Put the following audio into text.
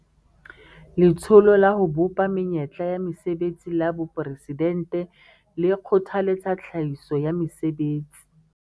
Letsholo la ho Bopa Menyetla ya Mesebetsi la Boporesidente le kgothaletsa tlhahiso ya mesebetsi